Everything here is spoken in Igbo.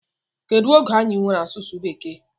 Kedu oge anyị nwere asụsụ bekee?